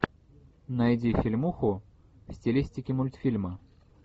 найди фильмуху в стилистике мультфильма